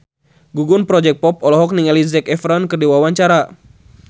Gugum Project Pop olohok ningali Zac Efron keur diwawancara